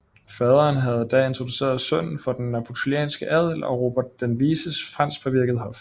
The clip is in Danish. Faderen havde da introduceret sønnen for den napolitanske adel og Robert den Vises franskpåvirkede hof